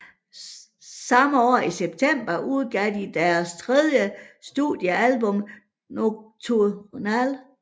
Samme år i september udgav de deres tredje studiealbum Nocturnal